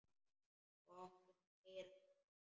Og áttum að heyra það.